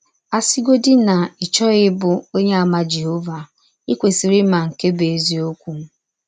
A sịgọdị na ị chọghị ịbụ Ọnyeàmà Jehọva, i kwesịrị ịma nke bụ́ eziọkwụ.